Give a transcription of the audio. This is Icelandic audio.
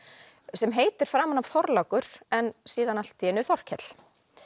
sem heitir framan af Þorlákur en síðan allt í einu Þorkell